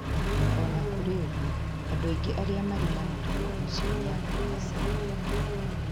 O na kũrĩ ũguo, andũ aingĩ arĩa marĩ na mũrimũ ũcio nĩ a kuuma Caina.